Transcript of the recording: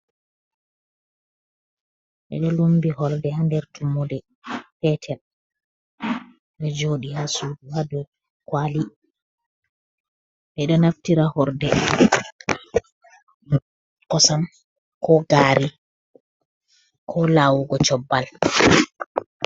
Ɓedo lumbi horde ha nder tummude petel, ɗe joɗi ha suudu ha dow kwali, ɓeɗo naftira horde kosam ko gari ko lawugo cobba.